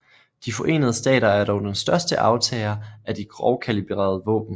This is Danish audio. De Forenede Stater er dog den største aftager af de grovkalibrede våben